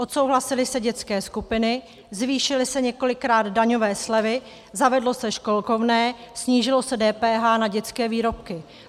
Odsouhlasily se dětské skupiny, zvýšily se několikrát daňové slevy, zavedlo se školkovné, snížilo se DPH na dětské výrobky.